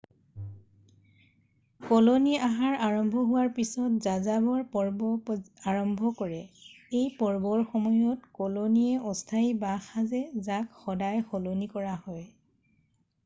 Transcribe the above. colony আহাৰ আৰম্ভ হোৱাৰ পিছত যাযাবৰ পৰ্ব আৰম্ভ কৰে এই পৰ্বৰ সময়ত কলনীয়ে অস্থায়ী বাঁহ সাজে যাক সদায় সলনি কৰা হয়